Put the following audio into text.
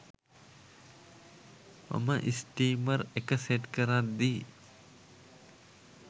මම ස්ටීමර් එක සෙට් කරද්දි